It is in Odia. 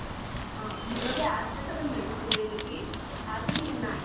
ହଁ ମୁଁ କହିଲି ଆସେ ତତେ medicine ଦେଇଦେବି ଆସେ ଟିକେ ନାଇଁ